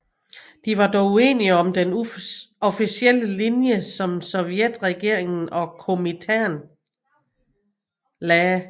De var dog uenige om den officielle linje som sovjetregeringen og Komintern lagde